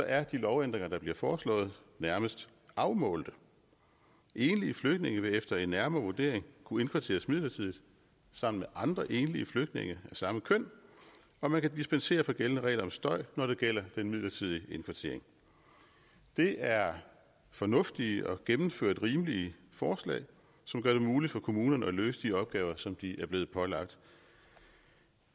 er de lovændringer der bliver foreslået nærmest afmålte enlige flygtninge vil efter en nærmere vurdering kunne indkvarteres midlertidigt sammen med andre enlige flygtninge af samme køn og man kan dispensere fra gældende regler om støj når det gælder den midlertidige indkvartering det er fornuftige og gennemført rimelige forslag som gør det muligt for kommunerne at løse de opgaver som de er blevet pålagt